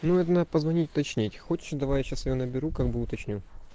ну это надо позвонить уточнить ты хочешь давай я сейчас её наберу как бы уточню